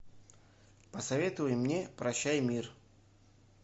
посоветуй мне прощай мир